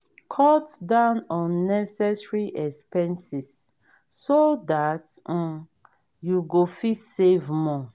cut down unnessecary expenses so that um you go fit save more